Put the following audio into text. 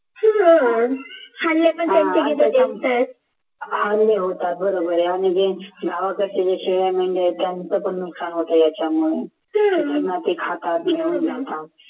होतात बरोबर आहे आणि गावाकडचे ज्या शेळ्या मेंढ्या आहेत त्यांचं पण नुकसान होतं त्याच्यामुळे